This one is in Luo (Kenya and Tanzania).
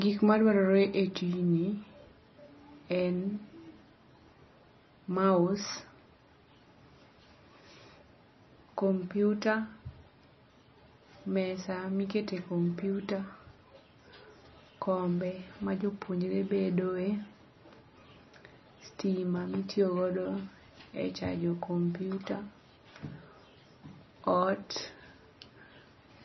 Gik madwarore e tijni en mouse, kompyuta, mesa miketee kompyuta, kombe ma jopuonjre bedo e,stima mitiyo godo e chajo kompyuta, ot